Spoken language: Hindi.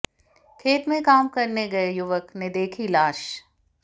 खेत में काम करने गए युवक ने देखी लाश